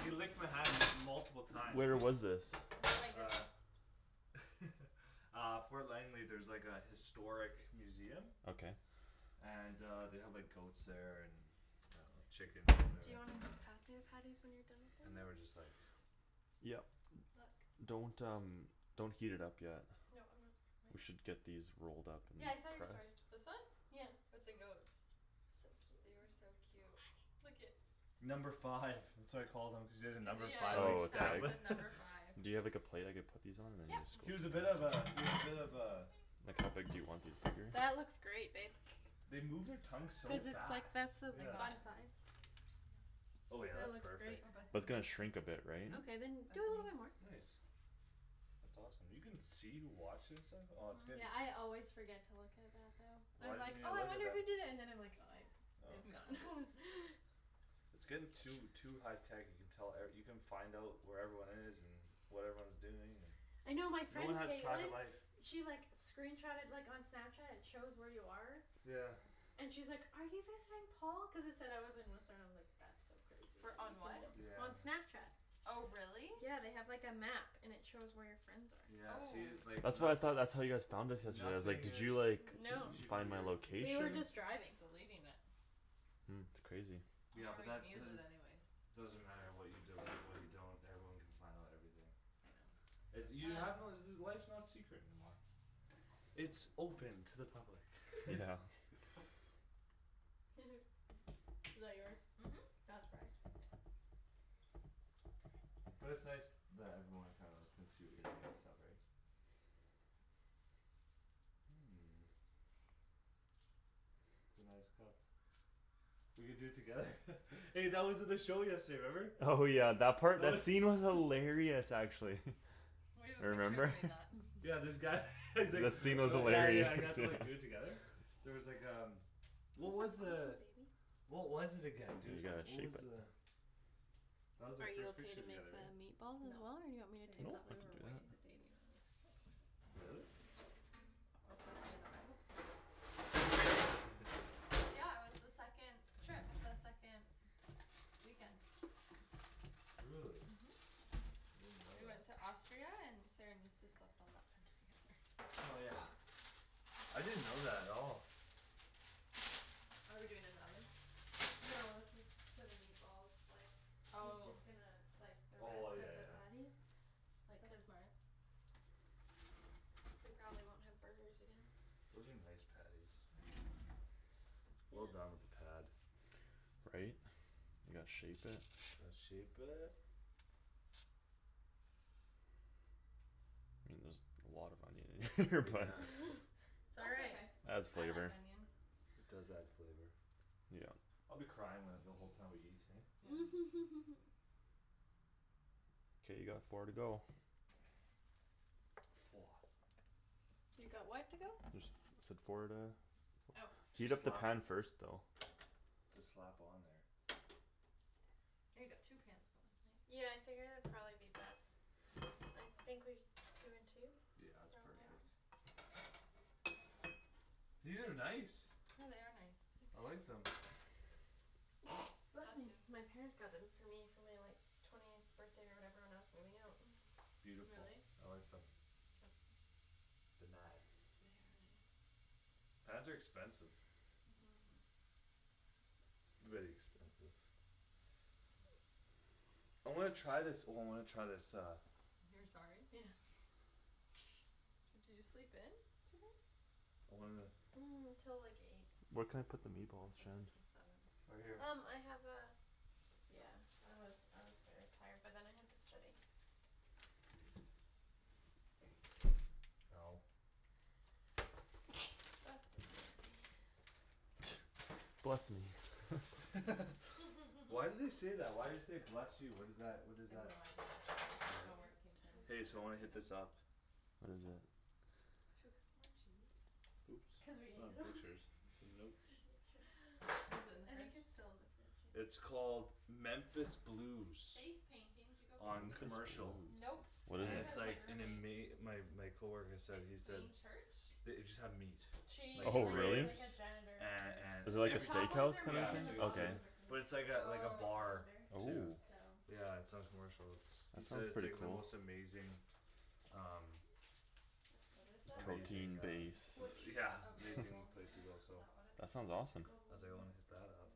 He licked my hand m- multiple times. Where was this? I really like this. Uh Uh Fort Langley, there's, like, a historic museum Okay. And uh they have, like, goats there and And uh chickens, Do whatever. you wanna just pass me the patties when you're done with And the they were just, rest? like Yep. Look. Don't, um, don't heat it up yet. No, I'm not. We should get these rolled up in Yeah, there I saw your story. first. This one? Yeah. With the goats. So They cute. are so cute. Look at Number five. That's what I call them. Cuz he has a Cuz, yeah, number five yeah, on his Oh, his tag tag? tablet. said number five. Do you have, like, a plate I could put these on and then Yep. this He was a bit of goes a, he was a bit of a Like how big do you want these, bigger? That looks great, babe. They move their tongue so Cuz it's, like, fast, that's the I'm yeah. not bun size. Oh yeah, That that's looks great. perfect. Oh, Bethany That's gonna watched it. shrink a bit, right? Hmm? Okay, then do a little bit more. Bethany. Nice. That's awesome. You can see, wash and stuff? Oh it's gonna Yeah, I always forget to look at that though. Why I'm like, didn't you "Oh I look at wonder who that? did it." And then I like "Oh I- it's Oh gone." It's getting too, too high tech you can tell, er, you can find out where everyone is and What everyone's doing I and know my no one friend has private Caitlin life. She, like, screenshotted like on Snapchat; it shows where you are Yeah. And she's like, "Are you visiting Paul?" cuz it said I was in Whistler, I was like "That's so crazy that Wher- you can on what? Yeah, know" I on know. Snapchat. Oh, really? Yeah, they have, like, a map and it shows where your friends Yeah, are. see, Oh. like That's what I nothi- thought, that's how you guys found us yesterday. I was like, Nothing "Did is you like No, Find my we were location?" just driving. Deleting it. Mm. It's crazy. You Yeah, don't but that even use it doesn't anyways. Doesn't matter what you delete and what you don't. Everyone can find out everything. I know. You have to Um know life's not secret anymore. It's open to the public. Yeah. Is that yours? Mhm. Yeah. Not surprised. But it's nice that everyone kinda can see what you're doing and stuff, right? It's a nice cup. We could do it together. Hey, that was at the show yesterday, remember? Oh, yeah, that part? That scene was hilarious, actually. We have a picture Remember? doing that. Yeah, this guy he's like, The scene was uh yeah, yeah, he has hilarious. to, like, do it together. There was like um, what was Who's the that baby? What was it again, Dude, dude, you gotta what was shape it. the That was our Are you first okay picture to make together, that right? meatball as No. well? Or do you want me to Baby, No, take tha- I over we can were for do way that. you? into dating when we took it. Really? That was like the end of bible school. Yeah, that's in there Yeah, it was the second Trip, the second weekend. Really? Mhm. I didn't know We that. went to Austria and Saran used to slept on that bed together. Oh, yeah? I didn't know that at all. Are we doing in the oven? No, that's just for the meatballs, like He's Oh. just gonna, like, the Oh I, rest yeah, of the yeah. patties. Like, That's cuz smart. We probably won't have burgers again. Those are nice patties. Well Yeah. done with the pad. Right? You gotta shape it. Let's shape it. I mean there's a lot of onion in here but Yeah. It's all That's right. okay, Adds I like flavor. onion. It does add flavor. Yeah. I'll be crying when, the whole time we eat, hey? Yeah. K, you got four to go. Woah. You got what to go? Just said four to Oh. Heat Just up the slap pan first though. Just slap on there. Oh, you got two pans going, nice. Yeah, I figured it'd probably be best. I think we, two and two? Yeah, it's Yeah. Probably. perfect. These are nice. Yeah, they are nice. I like them. Bless Bless me! you. My parents got them for me for my, like Twentieth birthday or whatever when I was moving out. Beautiful, Really? I like them. They nice. They are nice. Pans are expensive. Mhm Very expensive. I wanna try this, oh, I wanna try this uh You're sorry? Yeah. Did you sleep in? Today? I wanna Till like eight. Where can I Oh, put the I meatballs, slept Shan? in till seven. Right here Um I have a Yeah, I was, I was very tired but then I had to study. Ow Bless Bless you. me, yeah. Bless me. Why do they say that? Why do you say "Bless you"? What is that? What is I have that? no idea. I don't really I don't know where know. it came from. It's Hey, kinda so wanna hit random. this up. What is it? Should we cut some more cheese? Oops, Cuz we ate it not all butchers. Nope. Is it in the I think fridge? it's still in the fridge, yeah. It's called Memphis Blues. Face painting. Did you go face On painting? Memphis Blues. Commercial. Nope, What I is And think that it's it? was my like an roommate. ama- my. my coworker said. he said Plain church? The- it just have meat. Like She, Oh, like, is really? like ribs a janitor and, for Is it and like The a everything. top ones steakhouse are kinda Yeah, mine and it's thing? the like a bottom Okay. steakh- ones are hers. But it's like a, like a And Oh, the okay. bar calendar too Oh. so Yeah, it's on Commercial. It's, he That said sounds it's pretty like the cool. most amazing Um That's What does mine. that say? Amazing Protein uh base. Which? yeah, Oh, amazing Globalme place to lunch? go, Is so. that what it's That sounds called? awesome. I was like, "I Globalme, wanna hit that up." yeah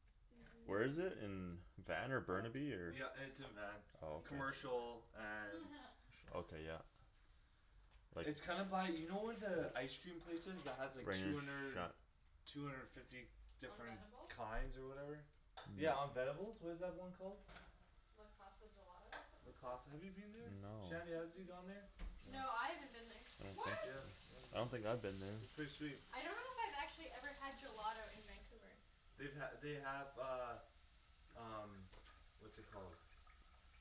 C Where is G it? In um Van or Test. Burnaby or Wrong Yeah, turn. it's in Van. Oh, okay Except I'm not. Commercial and Okay, yeah. Like It's kinda by, you know where the ice cream place is that has like Rain two or hundred Shi- Two hundred fifty On different Venebles? kinds or whatever? Yeah, on Venebles? What is that one called? Le Casa Gelato or Le something like that? Casa, have you been there? No. Shanny, has you gone there? No. No, I haven't been there. I don't think What? so. Yep, oh, I no? don't think I've been It's there. pretty sweet. I don't know if I've actually had gelato in Vancouver. They've ha- they have uh Um what's it called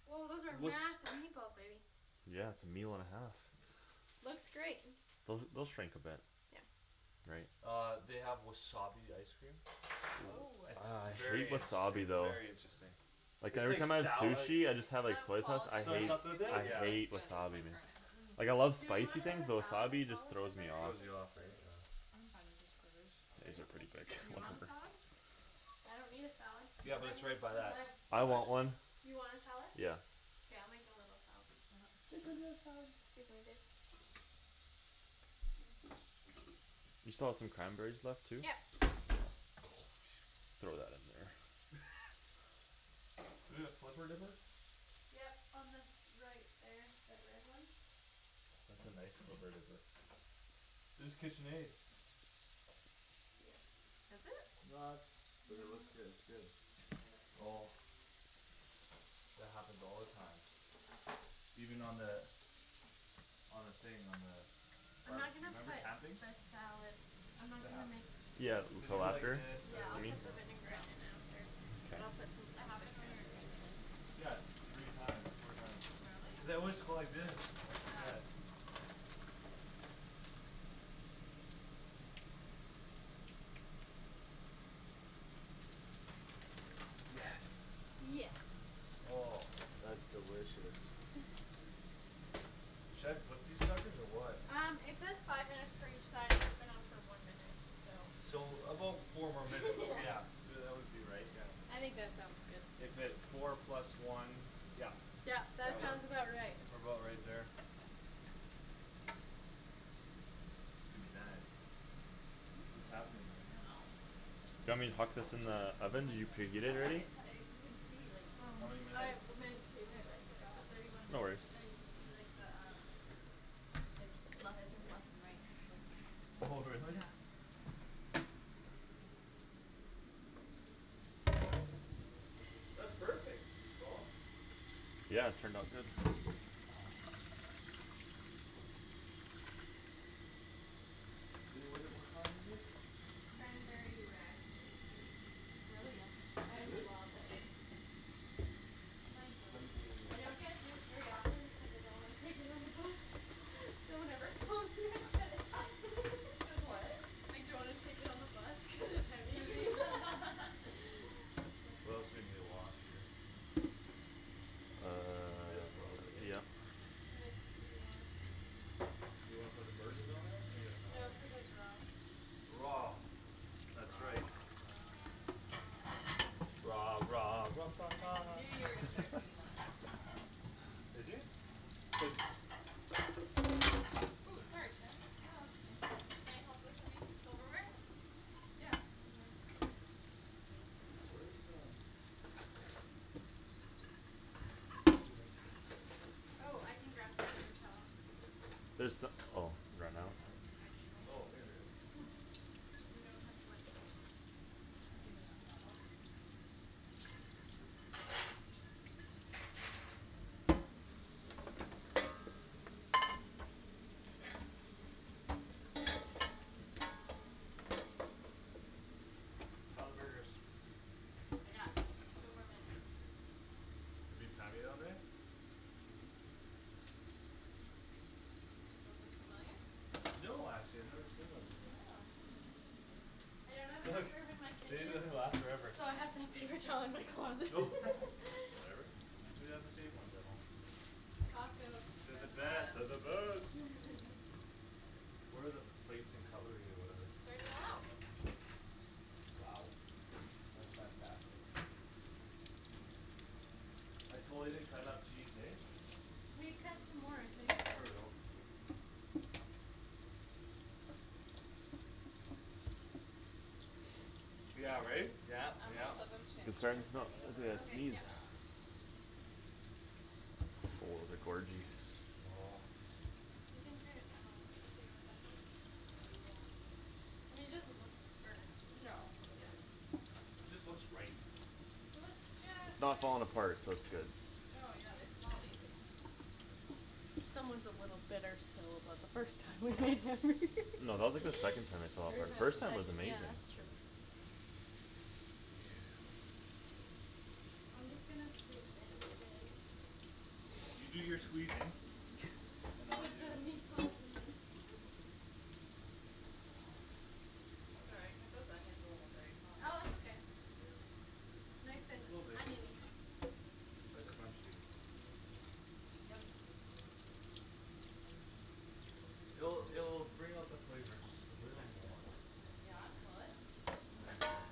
Woah, those are massive meatballs, baby. Yeah, it's a meal and a half. Looks great. Those, they'll shrink a bit. Yeah Right. Uh they have wasabi ice cream. Woah. It's Ah, I hate very wasabi interesting, though. very interesting. Like It's every like time I have sou- like sushi I just Okay. have, like, The soy sauce. I quality of Soy hate, ice sauce with cream though I it? Yeah. isn't as hate good as, wasabi, like, man. Earnest. Mm. Like, I love Do we spicy wanna have things a but salad as wasabi well just with our throws me burgers? off. Throws Or you off, just right? burgers? Yeah. I'm fine with just burgers. Just These are burgers? K. pretty big. Do you want a Whatever. salad? I don't need a salad, Yeah, but I it's mean right by cuz that I ice I want cream place. one. You want a salad? Yeah. K, I'll make a little salad. Okay. Listen to the salad. Excuse me, babe. You still have some cranberries left too? Yep Throw that in there. We gonna flipper dipper? Yep, on this, right there, that red one. That's a nice flipper dipper. It's Kitchenaid. Yes. Is it? Not, but it No, looks good, it's good. I don't Oh know. That happens all the time. Even on the On the thing, on the I'm not Barbecue, gonna remember put camping? the salad I'm not It gonna make happens. Yeah, You with Cuz the you put go like lacquer? this, this yeah, to, I'll I mean. like, put you the know Yeah. vinaigrette in after. K. And I'll put some It of the happened when we were cranberries camping? in. Yeah, three times, four times. Really? Cuz I always go like this, I Yeah. forget. Yes. Yes. Oh, that's delicious. Should I flip these suckers or what? Um it says five minutes for each side and it's been on for one minute, so. So about four more minutes, Yeah yeah. Y- uh that would be right, yeah. I think that sounds good. If it, four plus one, yeah. Yep, Yeah, that well, sounds Yep. about right. what about right there? Could be nice. Hmm? What's happening I don't there? know. Do you want me to huck this in the Maybe oven? one Did you minute. preheat Oh it look already? it uh you can see like Oh. How many I minutes? w- meant to but It, I it's forgot. at thirty one No minutes. worries. No, you can see the um Like le- it says left and right; it's going up Oh and down, really? yeah. I'ma pass this to you to put in That's the perfect, Paul. Yeah, it turned out good. I- Would it, what kind is this? Cranberry raspberry juice. It's really yummy. I Is it? love it. My go to. Cranberry I don't get juice very often because I don't wanna take it on the bus So whenever Paul's here I get it. Cuz what? I don't wanna take it on the bus cuz it's heavy Heavy. That's We also funny. need a wash here. This probably, Uh hey? yep. This could be washed. You wanna put the burgers on there? I guess not, No, eh? cuz it's raw. Raw, that's right. Raw Raw I knew you were gonna start singing that. Did you? Cuz Ooh, sorry, Shan. No, that's okay. Can I help with anythi- silverware? Yeah, in men. Where's um Paper towel? Oh, I can grab some paper towel. There so- oh, ran out? Oh, actually. Oh, here we are. We don't have much. I'll grab you Can you not grab 'em? How're the burgers? They got two more minutes. We've been timing on there? Mhm. Those look familiar? No, actually I've never seen those before. Yeah, hmm, interesting. I don't have enough room in my They kitchen usually last forever. So I have to have paper towel in my closet. Whatever. We have the same ones at home. Costco. They're the They're the best, they're best. the best. Where are the plates and cutlery or whatever? It's already all out. Wow. That's fantastic. I totally didn't cut enough cheese, hey? We cut some more, I think. There we go. Yeah, right? Yeah, I'm gonna yeah. flip 'em, Shandy, It's cuz starting they're to smell starting to burn. I gotta Okay, yep. sneeze. Oh, they're gorgey. You can turn it down a little bit too, would that help? Maybe, yeah. I mean it doesn't look burnt. No, but they're Yeah Just looks right. It looks It's just not right. falling apart, so it's good. No, yeah, they smell amazing. Someone's a little bitter still about the first time we made them. No, that was, like, the second time it fell apart. First time it First was time Everytime was amazing. Yeah amazing. that's true. Yeah. I'm just gonna squeeze in and You do your squeezing and I'll Put do the meatballs in the Sorry, I cut those onions a little big, huh. Oh it's okay. Yeah. Nice and Little big. onion-y Like crunchy. Yum, yum. It'll, it'll bring out the flavor just a little more. Yeah? Will it? I think it's full.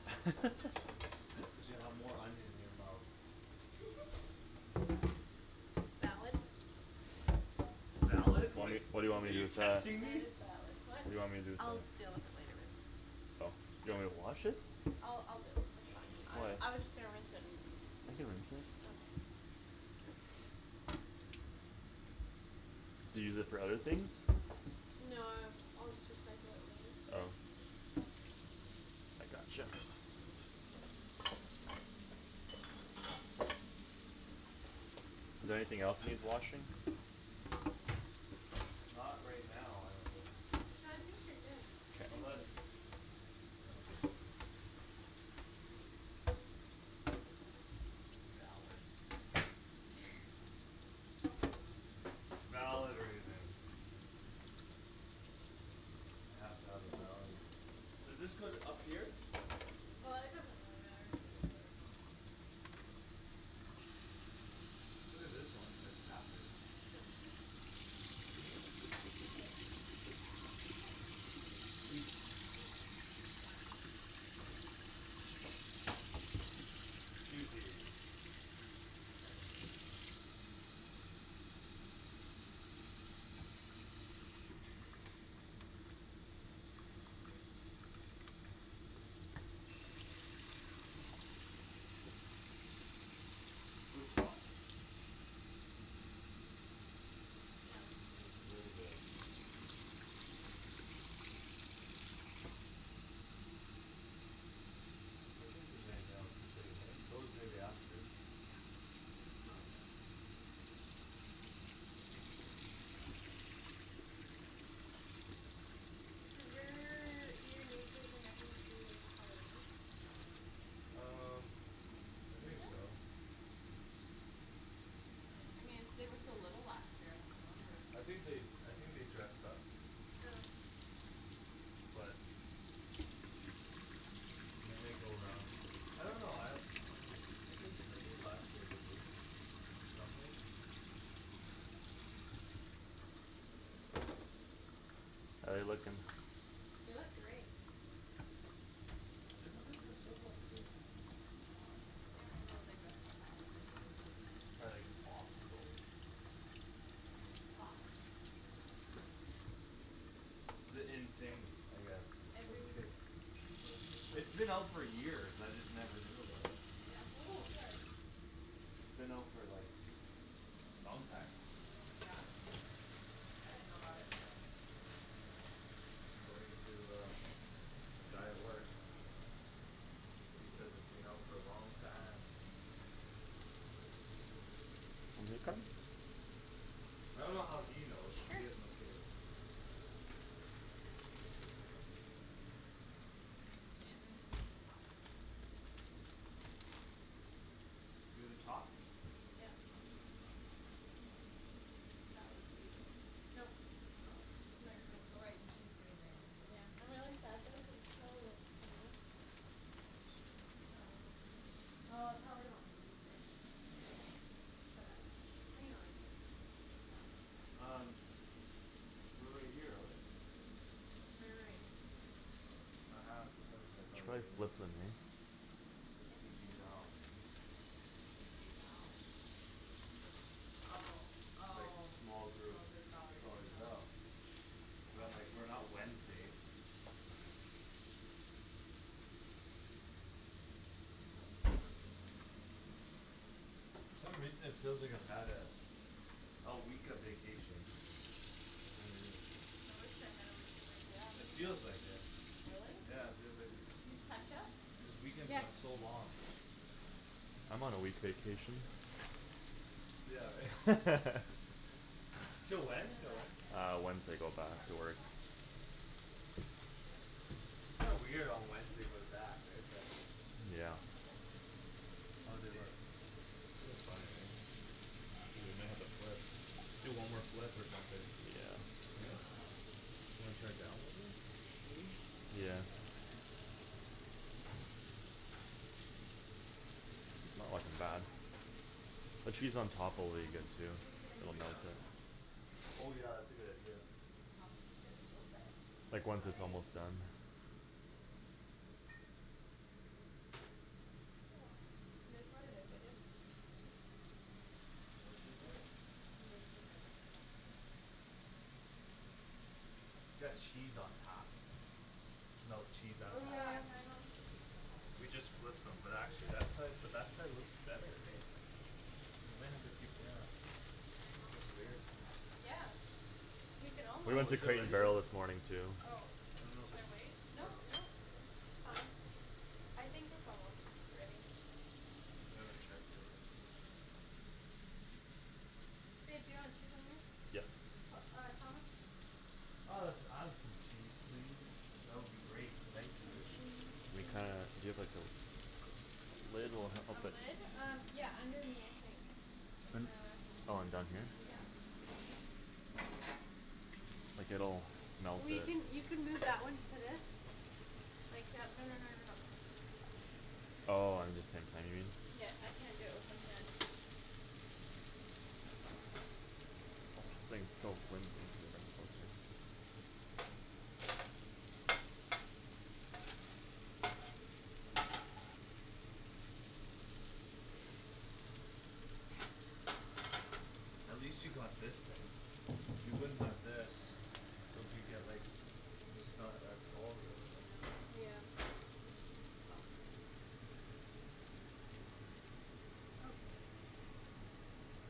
Cuz you have more onion in your mouth. Valid. Valid? Wait, Like, what do you want are me to do you with that? testing That me? is valid. What? What do you want me to do with I'll that? deal with it later. Oh, do you want me to wash it? I'll, I'll deal with it. That's fine. Why? I, I was just gonna rinse it and then I can rinse it. Okay Do you use it for other things? No, uh I'll just recycle it later. Oh. I gotcha. Is there anything else needs washing? Not right now, I don't think. No, I think you're good. K. Thank Unless you. Yeah. Valid. Valid reason. I have to have a valid Does this go th- up here? Uh it doesn't really matter. Look at this one, it's like halfer Put cheese on. Hmm? It's for, like, cheese and stuff. Yeah. Eat. Eat Cheesy. Looks awesome. Yeah, it looks good. Looks very good. I don't think there's anything else to clean, eh? Those maybe after Yeah, it's all good. Does your, do your nieces and nephews do Halloween? Um I Do they? think so. I thought they, I mean, they were so little last year; I don't remember. I think they, I think they dressed up. But And they might go around. I don't know, I Uh I think, I think last year they did it. Something How're they looking? It was great. Didn't they dress up last year? I don't remember. I can't remember what they dressed up as. Probably like Paw Patrol or something. It's the in thing, I guess, with the Every kids. It was just It's like been out for years; I just never knew about it. Yeah Ooh, sorry. It's been out for, like, long time. Yeah? I didn't know about it till Kristen and Marianne. According to, uh, the guy at work. He says it's been out for a long time. I dunno how he knows, cuz Sure. he has no kids. Is that their schedule? Mhm. Shandryn's is the top. You're the top? Yep. That was you though. Nope, No? my roommate. Oh, right, cuz she's getting married too. Yeah, I'm really sad though cuz this probably won't come off. She'll No? well. It probably won't re-stick. Oh. But that's okay. I can always get a new one. Yeah. Um we're right here though, right? We're right here. Oh ha ha, for some reason I thought we Should I were here. flip them in? This K. C G Val. C G Val? Oh, Like oh, small small group, group Valerie, small group Val. no. But I'm like, Might "We're be. not Wednesday." For some reason it feels like I've had a A week of vacation. Kinda weird. I wish I had a week of Yeah, me It vacation. too. feels like it. Really? Yeah, it feels like a Do you have ketchup? This weekend's Yes. gone so long. I'm on a week vacation. Yeah, right? This Till In one? when? the Till back, when? yeah. Uh, Wednesday go Do you back to barbecue work. sauce? Wednesday. Yes, I should. Kinda weird on Wednesday go to back, right? But Yeah. I thought I did. Maybe. How'd they look? Maybe it's They look back fine, there? right? Oh, we may I have to see. flip. Do one more Mustard, do the flip or boys like something. mustard? Eh? Oh, here's You another wanna try to ketchup. download this, maybe? Which Yeah. Yeah. one's newer? Doesn't matter. Uh Not looking I bad. thought I had some The barbecue cheese on sauce. top will be Teriyaki good too. Maybe I It'll Yeah. melt used it it. all. Oh yeah, that's a good idea. Thomas is gonna be so upset. I'm Like once Just it's sorry. kidding. almost done. Oh well. Oh, well. It is what it is, I guess. What's in there? We were looking for barbecue sauce. Got cheese on top. Melt cheese on Oh, Oh, top. yeah, yeah. can I melt some cheese on top of We mine? just flipped them. Oh But we actually that did. side, but that side looks better, hey? We might have to keep, yeah. Can I melt That's cheese weird. on Um mine? yeah, we can all We Well, went to is it Crate and ready yet? Barrel this morning too. Oh, I dunno if we should I should, wait? I Nope, dunno nope, it's fine. I think it's almost ready. We haven't checked it but I think it should be fine. Babe, do you want cheese on yours? Yes. P- uh Thomas? Uh let's add some cheese, please. That would be great, thank Some you. cheese, We kinda, please. do you have like those Lid will A help it. lid? Um, yeah, under me I think. In Un- oh, in down here? the, yeah. Like, it'll melt We it. can, you can move that one to this. Like, yeah, no no no no no. Oh, um the same time, you mean? Yeah, I can't do it with one hand. This thing's so flimsy. That's good. At least you got this thing. If you wouldn't have this It'll be get, like, just not that tall here, you know? Yeah. Yeah. This is fucked.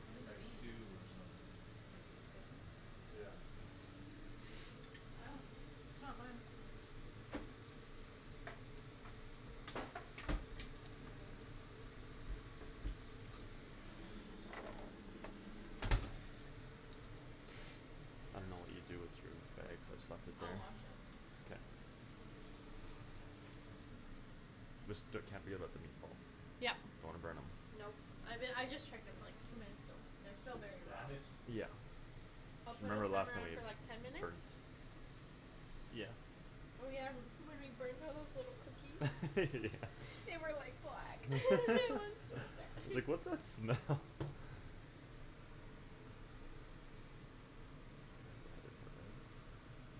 What does it Like mean? dew or something. Like, please kiss me? Yeah. I dunno, it's not mine. I think it says please kiss me. Or like, can I have a kiss? Or something like that. I didn't know what you I dunno. do with your bags. I just left it I'll there. wash it. Okay. Just the, can't be without the meatballs. Yup. Don't wanna burn 'em. Nope, I be- I just checked them, like, two minutes ago. They're still very raw. Spanish? Yeah. I'll put a Remember last timer time on for, like, ten it minutes? burnt. Yeah. Oh, yeah, m- when we burned those little cookies Yeah. They were like black; it was so sad. It's like, "What's that smell?"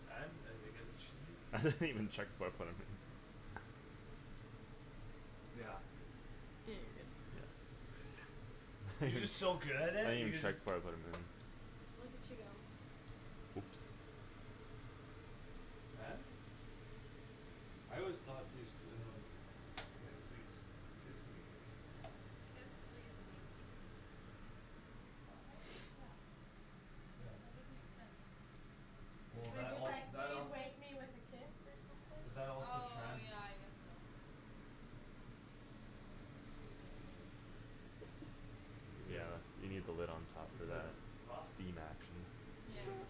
And? Are they getting cheated? I didn't even check before I put it in. Yeah. Yeah, you're good. I You're didn't just so good at it, you even could, check like before I put 'em in. Look at you go. Oops. And? I always thought please d- um Like, "Please kiss me." Kiss, please, wake. Did spell it right? Yeah. Yeah. That doesn't make sense. Well, It Maybe that would say it's all, like, that "Please all wake me with a kiss" or But something? that also Oh, trans- yeah, I guess so. Like, please wake me with a kiss? Because Yeah, you need the lid on top That makes sense. for Because that steam action. Yeah. means